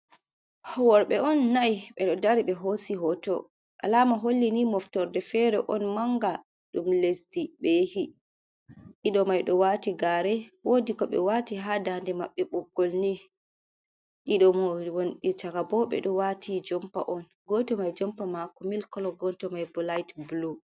Worɓe on nai ɓe ɗo dari ɓe hosi hoto. Alama holli ni moftorde fere on manga ɗum lesdi ɓe yehi ɗiɗo maido wati gare wodi ko ɓe wati ha dande maɓɓe boggol ni. Ɗiɗo wonɓe chaka bo, ɓe ɗo wati jompa on goto mai jompa mako mil kolo goto mai bo lait blu.